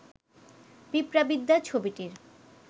পিঁপড়াবিদ্যা ছবিটির